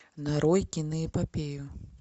нарой киноэпопею